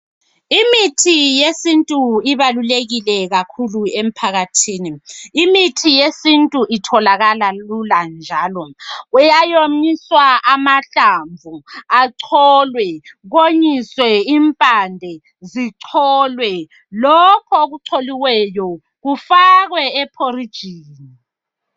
Imithi yesintu ibalulekile kakhulu emphakathini. Imithi yesintu itholakala lula njalo. Kuyawonyisa amahlamvu acolwe konyiswe imphande zicolwe. Lokho okucoliweyo kufakwe eporijini.